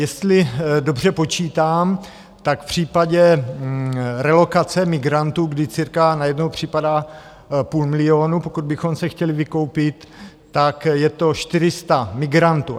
Jestli dobře počítám, tak v případě relokace migrantů, kdy cirka na jednoho připadá půl milionu, pokud bychom se chtěli vykoupit, tak je to 400 migrantů.